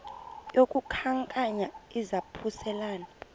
yaku khankanya izaphuselana